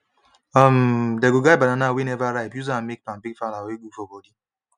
um they go grind banana wey never ripe use am make pancake flour wey good for body